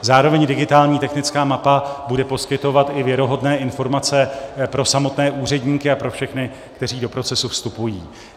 Zároveň digitální technická mapa bude poskytovat i věrohodné informace pro samotné úředníky a pro všechny, kteří do procesu vstupují.